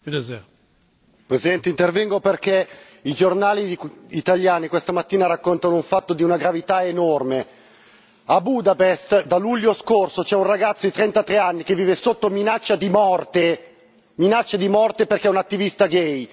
Signor Presidente, onorevoli colleghi, intervengo perché i giornali italiani questa mattina raccontano un fatto di una gravità enorme a Budapest da luglio scorso c'è un ragazzo di 33 anni che vive sotto minaccia di morte, minaccia di morte perché è un attivista gay.